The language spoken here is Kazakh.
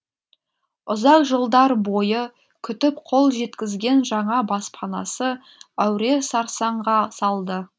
ұзақ жылдар бойы күтіп қол жеткізген жаңа баспанасы әуре сарсаңға салды